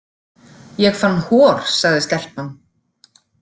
Ég fann hor, sagði stelpan.